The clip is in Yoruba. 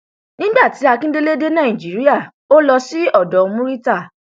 nígbà tí akindélé dé nàìjíríà ó lọ sí odò murità